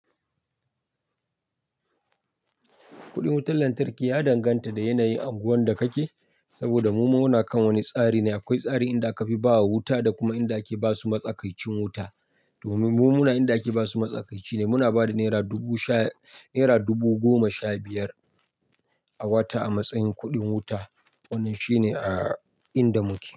Kuɗin wutar lantarki ya danganta da yanayin anguwan da kake. Saboda mu muna kan wani tsari ne, akwai tsari inda aka fi ba wa wuta da kuma inda ake basu matsakaicin wuta. Domin mu muna inda ake basu matsakaici ne muna ba da naira dubu goma sha biyar a wata a matsayin kuɗin wuta. Wannan shine a inda muke.